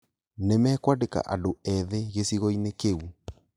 Nĩmekũandĩka andũ ethĩ gĩcigo kĩĩu